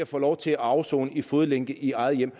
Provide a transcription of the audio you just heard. få lov til at afsone i fodlænke i eget hjem